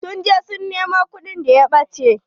Sun je su nemo kuɗin da ya ɓache.